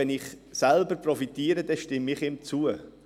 Wenn ich selber davon profitiere, stimme ich zu.